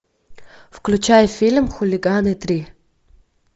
включай фильм хулиганы три